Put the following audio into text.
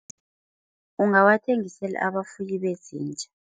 Ungawathengisela abafuyi bezinja.